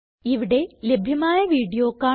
ഇവിടെ ലഭ്യമായ വീഡിയോ കാണുക